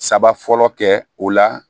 Saba fɔlɔ kɛ o la